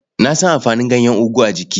Na san amfanin ganyen ogu a jiki.